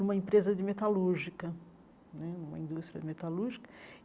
numa empresa de metalúrgica né, uma indústria de metalúrgica.